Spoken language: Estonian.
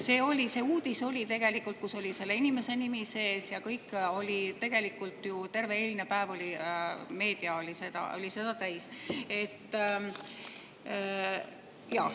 Seda uudist, kus oli selle inimese nimi sees ja kõik, oli meedia terve eilne päev täis.